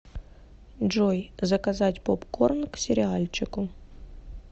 джой заказать попкорн к сериальчику